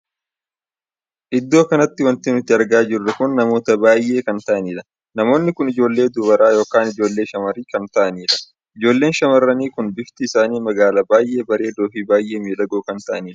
Iddoo kanatti wanti nuti argaa jirru kun namoota baay'ee kan taa'anidha. namoonni kun ijoollee dubaraa ykn ijoollee shamarranii kan taa'anidha. ijoolleen shamarranii kun bifti isaanii magaala baay'ee bareedoo Fi baay'ee miidhagoo kan taa'aniidha.